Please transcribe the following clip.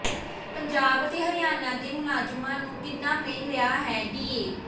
ਪੰਜਾਬ ਤੇ ਹਰਿਆਣਾ ਦੇ ਮੁਲਾਜ਼ਮਾਂ ਨੂੰ ਕਿੰਨਾ ਮਿਲ ਰਿਹਾ ਹੈ ਡੀਏ